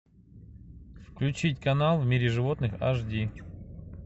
включить канал в мире животных эйч ди